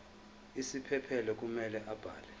isiphephelo kumele abhale